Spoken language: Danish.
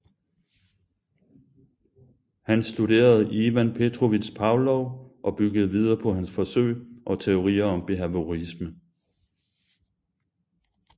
Han studerede Ivan Petrovich Pavlov og byggede videre på hans forsøg og teorier om behaviorisme